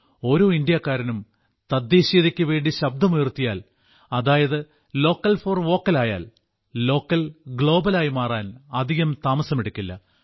ഓരോ ഇന്ത്യക്കാരനും തദ്ദേശീയതയ്ക്കു വേണ്ടി ശബ്ദമുയർത്തിയാൽ അതായത് ലോക്കൽ ഫോർ വോക്കൽ ആയാൽ ലോക്കൽ ഗ്ലോബൽ ആയി മാറാൻ അധികം താമസമെടുക്കില്ല